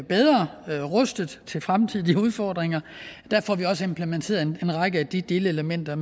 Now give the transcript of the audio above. bedre rustet til fremtidige udfordringer der får vi også implementeret en række af de delelementer